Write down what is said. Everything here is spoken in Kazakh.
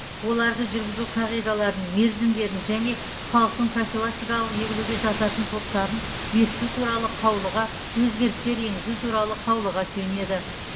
оларды жүргізу қағидаларын мерзімдерін және халықтың профилактикалық егілуге жататын топтарын бекіту туралы қаулыға өзгерістер енгізу туралы қаулыға сүйенеді